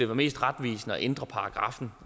mest retvisende at ændre paragraffen